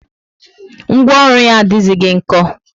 Ngwaọrụ yá adighizi nko